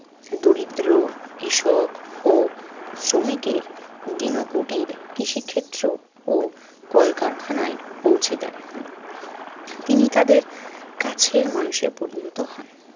দরিদ্র কৃষক ও শ্রমিকের দীন কুটির, কৃষিক্ষেত্র ও কুটির কলকারখানায় পৌঁছে দেন। তিনি তাদের কাছের মানুষে পরিণত হন।